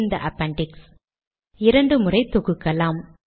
சேமிக்கலாம்